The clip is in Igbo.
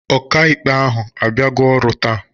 Ọkàikpe ahụ abịago ọrụ taa?